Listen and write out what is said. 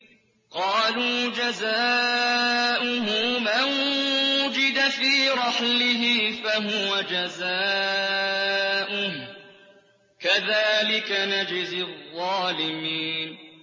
قَالُوا جَزَاؤُهُ مَن وُجِدَ فِي رَحْلِهِ فَهُوَ جَزَاؤُهُ ۚ كَذَٰلِكَ نَجْزِي الظَّالِمِينَ